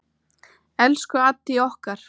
Elsku Addý okkar.